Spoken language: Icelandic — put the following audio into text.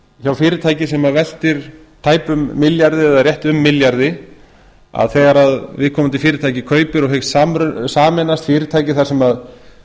hjá fyrirtæki sem veltir tæpum milljarði eða rétt um milljarði að þegar viðkomandi fyrirtæki kaupir og hyggst sameinast fyrirtæki þar sem starfa